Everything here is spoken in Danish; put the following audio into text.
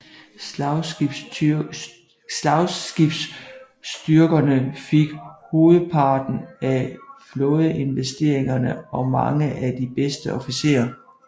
Slagskibsstyrkerne fik hovedparten af flådeinvesteringerne og mange af de bedste officerer